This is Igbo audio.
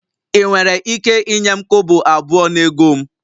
Ị nwere ike inye m kobo abụọ na ego m?